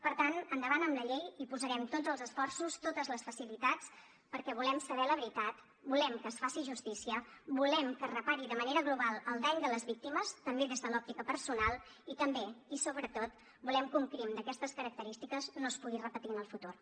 per tant endavant amb la llei hi posarem tots els esforços totes les facilitats perquè volem saber la veritat volem que es faci justícia volem que es repari de manera global el dany de les víctimes també des de l’òptica personal i també i sobretot volem que un crim d’aquestes característiques no es pugui repetir en el futur